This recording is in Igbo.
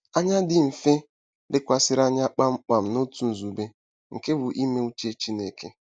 Anya “dị mfe” lekwasịrị anya kpam kpam n'otu nzube—nke bụ́ ime uche Chineke.